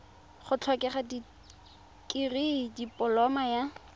go tlhokega dikirii dipoloma ya